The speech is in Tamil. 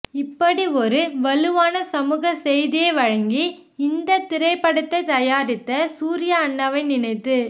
இப்படி ஒரு வலுவான சமூக செய்தி வழங்கி இந்த திரைப்படத்தை தயாரித்த சூர்யா அண்ணாவை நினைத்து